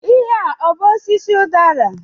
Ihe a ọ bú osisi udara?